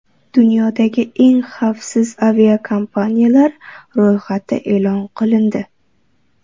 Dunyodagi eng xavfsiz aviakompaniyalar ro‘yxati e’lon qilindi.